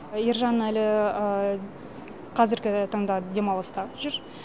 ержан әлі қазіргі таңда демалыста жүр